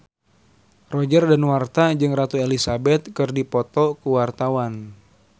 Roger Danuarta jeung Ratu Elizabeth keur dipoto ku wartawan